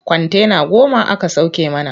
Kwantena goma aka sauke mana.